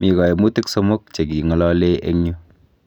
Mi kaimutik somok chekingalalei eng yu